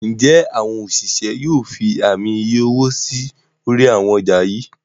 njé àwọn òṣìṣẹ́ yóò fí Ààmì iye owó sí orí àwọn ọjà yí?